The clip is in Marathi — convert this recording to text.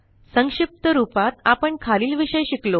संक्षिप्त रूपात आपण खालील विषय शिकलो